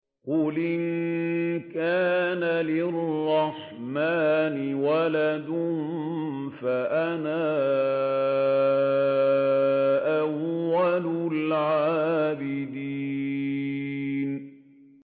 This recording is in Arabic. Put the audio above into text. قُلْ إِن كَانَ لِلرَّحْمَٰنِ وَلَدٌ فَأَنَا أَوَّلُ الْعَابِدِينَ